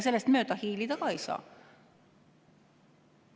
Sellest mööda hiilida ei saa.